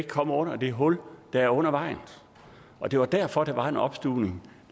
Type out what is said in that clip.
komme under det hul der er under vejen og det var derfor der var en opstuvning